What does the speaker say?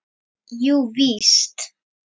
Jú, víst.